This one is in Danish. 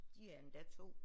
De er endda 2